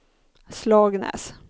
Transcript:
Slagnäs